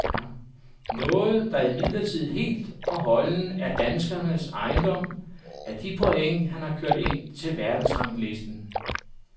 Noget, der imidlertid helt og holdent er danskerens ejendom, er de point, han har kørt ind til verdensranglisten.